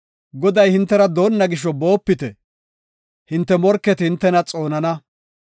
Goday hintera doonna gisho, boopite; hinte morketi hintena xoonana.